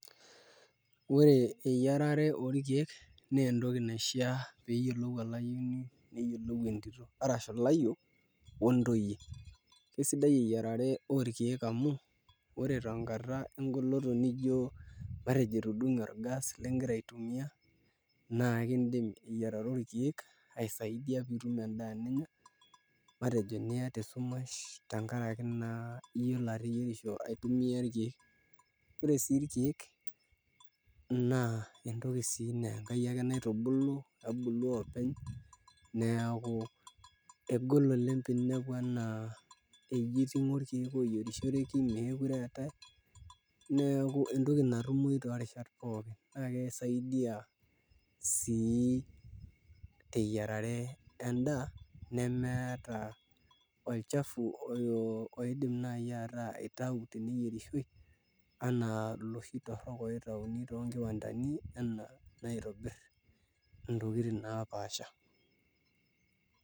Ore eyiarare orkeek naa entoki naishiaa pee eyiolou olayioni neyiolou entito arashu ilayiok ontoyie sidai eyiarare orkeek amu ore tenkata engoloto nijio matejo etudung'e orgas lingira aitumia naa kiidim eyiarare orkeek aisaidia pee itum endaa ninya, matejo tenkaraki naa iyiolo ateyierisho aitumia irkeek ore sii irkeek naa entoki naa Enkai ake nitabirua nebulu oopeny neeku egol oleng' pee inepu eji iting'o irkeek ooyierishoreki meekure eetae neeku entoki natumoyu toorishat pookin naa kisaidia sii teyiarare endaa nemeeta olchafu oidim naai aitau teneyierishoi anaa iloshi torrok oitauni toonkiwandani enaa aitobirr ntokitin naapaasha.